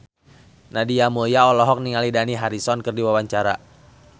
Nadia Mulya olohok ningali Dani Harrison keur diwawancara